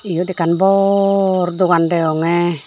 iyot ekkan bor dogan deyongey.